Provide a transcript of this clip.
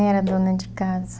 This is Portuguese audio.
era dona de casa.